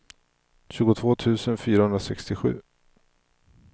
tjugotvå tusen fyrahundrasextiosju